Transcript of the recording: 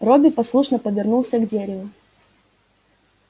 робби послушно повернулся к дереву